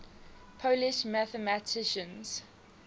polish mathematicians